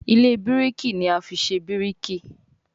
Ilé biriki ní a fí ṣe biriki.